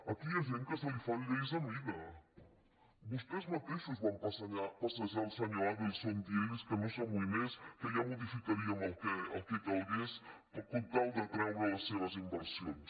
aquí hi ha gent que se li fan lleis a mida vostès mateixos van passejar el senyor adelson dient li que no s’amoïnés que ja modificaríem el que calgués per tal d’atraure les seves inversions